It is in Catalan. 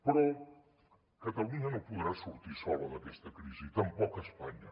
però catalunya no podrà sortir sola d’aquesta crisi tampoc espanya